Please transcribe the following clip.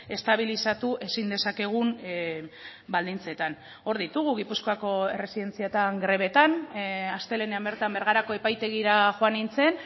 estabilizatu ezin dezakegun baldintzetan hor ditugu gipuzkoako erresidentzietan grebetan astelehenean bertan bergarako epaitegira joan nintzen